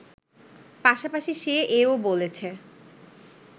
পাশাপাশি সে এও বলেছে